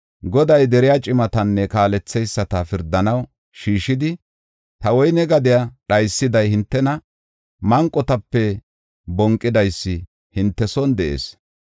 Goday deriya cimatanne kaaletheyisata pirdanaw shiishidi, “Ta woyne gadiya dhaysiday hintena; manqotape bonqidaysi hinte son de7ees.